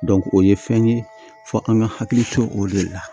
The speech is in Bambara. o ye fɛn ye fɔ an ka hakili to o de la